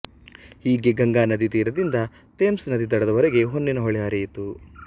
ಹೀಗೆ ಗಂಗಾನದಿ ತೀರದಿಂದ ಥೇಮ್ಸ್ ನದಿ ದಡದವರೆಗೆ ಹೊನ್ನಿನ ಹೊಳೆ ಹರಿಯಿತು